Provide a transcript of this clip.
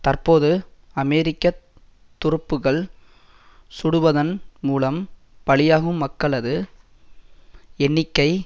தற்போது அமெரிக்க துருப்புக்கள் சுடுவதன் மூலம் பலியாகும் மக்களது எண்ணிக்கை